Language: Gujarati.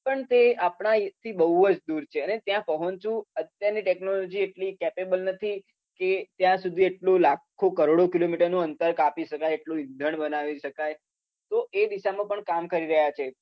પણ તે આપણા અહિંથી બઉ જ દુર છે. અને ત્યાં પહોંચવુ અત્યારની, ટેક્નોલોજી એટલી કેપેબલ નથી કે ત્યાં લાખો કરોડો કીલોમિટરનુ અંતર કાપી શકાય એટલુ ઈંધણ બનાવી શકાય. તો એ દિશામાં પણ કામ કરી રહ્યા છે.